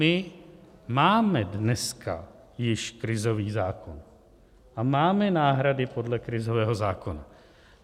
My máme dneska již krizový zákon a máme náhrady podle krizového zákona.